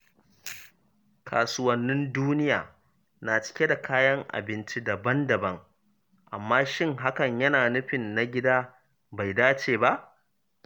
Kasuwannin duniya na cike da kayan abinci daban-daban, amma shin hakan yana nufin na gida bai dace ba?